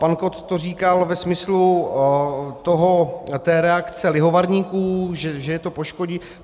Pan Kott to říkal ve smyslu té reakce lihovarníků, že je to poškodí.